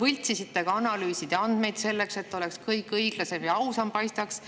Ja te võltsisite ka analüüside andmeid selleks, et kõik õiglasem ja ausam paistaks.